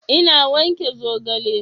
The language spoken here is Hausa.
Ina wanke zogale